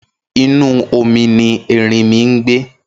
Inú omi ni ẹrinmi ngbé